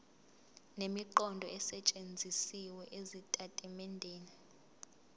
nemiqondo esetshenzisiwe ezitatimendeni